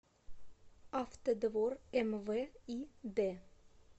автодвор мв и д